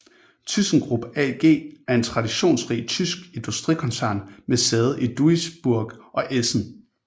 ThyssenKrupp AG er en traditionsrig tysk industrikoncern med sæde i Duisburg og Essen